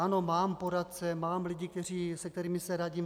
Ano, mám poradce, mám lidi, se kterými se radím.